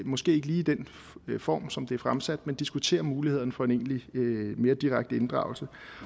måske ikke lige i den form som det er fremsat men diskutere mulighederne for en egentlig mere direkte inddragelse